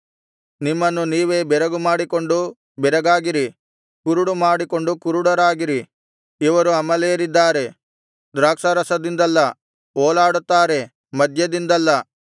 ನಿಮ್ಮನ್ನು ನೀವೇ ಬೆರಗು ಮಾಡಿಕೊಂಡು ಬೆರಗಾಗಿರಿ ಕುರುಡು ಮಾಡಿಕೊಂಡು ಕುರುಡರಾಗಿರಿ ಇವರು ಅಮಲೇರಿದ್ದಾರೆ ದ್ರಾಕ್ಷಾರಸದಿಂದಲ್ಲ ಓಲಾಡುತ್ತಾರೆ ಮದ್ಯದಿಂದಲ್ಲ